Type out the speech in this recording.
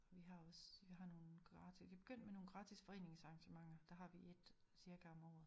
Vi har også vi har nogen gratis vi begyndt med nogle gratis foreningsarrangementer der har vi ét cirka om året